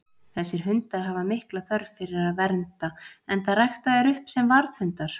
Þessir hundar hafa mikla þörf fyrir að vernda, enda ræktaðir upp sem varðhundar.